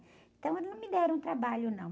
Então, eles não me deram trabalho, não.